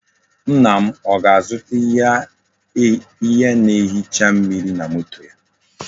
Nna m o ga-azuta ihe na-ehicha mmiri na moto ya.